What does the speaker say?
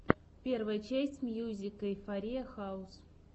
первая часть мьюзик эйфориа хаус